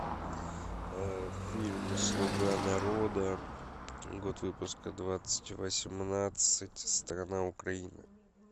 фильм слуга народа год выпуска двадцать восемнадцать страна украина